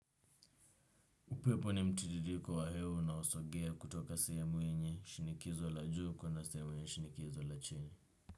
Upepo ni mtililiko wa hewa una osogea kutoka sehemu yenye shinikizo la juu kwenda sehemu yenye shinikizo la chini.